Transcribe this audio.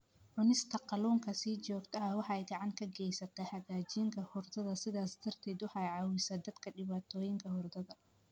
Cunista kalluunka si joogto ah waxay gacan ka geysataa hagaajinta hurdada, sidaas darteed waxay caawisaa dadka dhibaatooyinka hurdada.